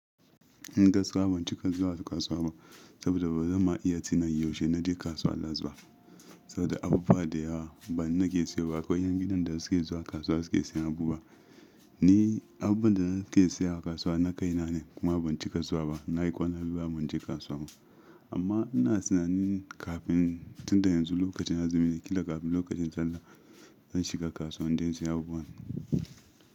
Ni gaskiya ban cika zuwa kasuwa ba, saboda ba zan ma iya tina yaushe na je kasuwa last ba. Saboda abubuwa da yawa ba ni nake siyo ba, aƙwai yan gidan da suke zuwa kasuwa suke sayan abu ba. Ni abubuwan da nake sayawa kasuwa na kai na ne. Kuma ban cika zuwa ba. Na yi ƙwana biyu ban je kasuwa ba. Amma ina tunanin kafin tunda yanzu lokacin azumi ne, killa kafin lokacin sallah zan shiga kasuwa don in sayi abubuwa.